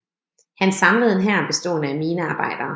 Han samlede en hær bestående af minearbejdere